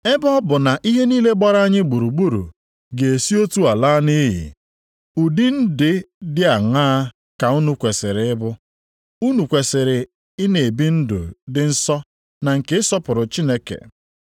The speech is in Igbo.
Ebe ọ bụ na ihe niile gbara anyị gburugburu ga-esi otu a laa nʼiyi, ụdị ndị dị aṅaa ka unu kwesiri ịbụ? Unu kwesiri ị na-ebi ndụ dị nsọ na nke ịsọpụrụ Chineke,